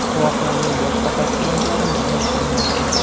Voqeaning boshqa tafsilotlari ma’lum qilinmagan.